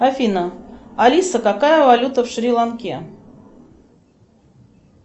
афина алиса какая валюта в шри ланке